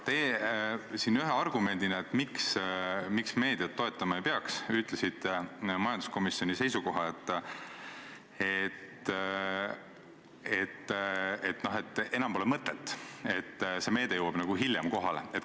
Teie siin ühe argumendina, miks meediat toetama ei peaks, ütlesite majanduskomisjoni seisukoha, et enam pole mõtet, sest see meede jõuab nagu hiljem kohale.